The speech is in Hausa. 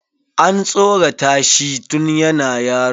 An tsoratashi tun yana yaro.